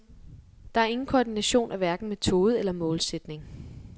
Der er ingen koordination af hverken metode eller målsætning.